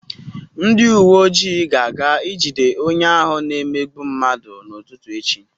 Ndị uwe ojii ga-aga ijide onye ahụ na-emegbu mmadụ n'ụtụtụ echi.